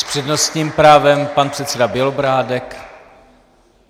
S přednostním právem pan předseda Bělobrádek.